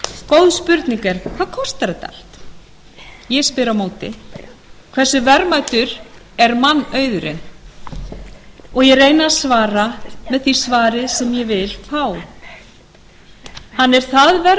góð spurning er hvað kostar þetta allt ég spyr á móti hversu verðmætur er mannauðurinn og ég reyni að svara með því svari sem ég vil fá hann er það verðmætur að